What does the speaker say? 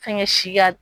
Fɛnkɛ si ka